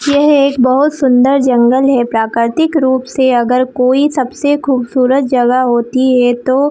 यह एक बहोत सुँदर जंगल है प्राकृतिक रूप से अगर कोई सबसे खूबसूरत जगह होती है तो--